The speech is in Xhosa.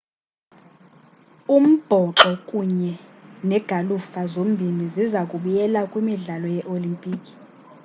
umbhoxo kunye negalufa zombini ziza kubuyela kwimidlalo yee-olimpiki